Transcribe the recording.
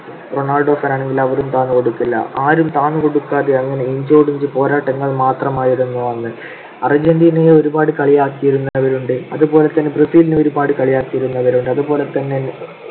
Ronaldo fan ആണെങ്കിൽ അവരും താന്നു കൊടുക്കില്ല. ആരും താഴ്ന്നു കൊടുക്കാതെ അങ്ങനെ inch ഓട് inch പോരാട്ടങ്ങൾ മാത്രമായിരുന്നു അന്ന്. അർജന്റീനയെ ഒരുപാടു കളിയാക്കിയിരുന്നവരുണ്ട്. അതുപോലെതന്നെ ബ്രസീലിനെ ഒരുപാട് കളിയാക്കിയിരുന്നവരുണ്ട്. അതുപോലെതന്നെ